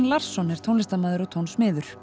Larsson er tónlistarmaður og